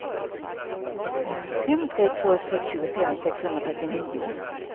fem tre två sex tjugofem sexhundrafyrtionio